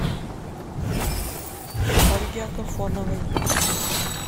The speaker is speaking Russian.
ольги агафоновой